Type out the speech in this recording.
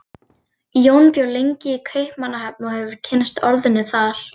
Jón bjó lengi í Kaupmannahöfn og hefur kynnst orðinu þar.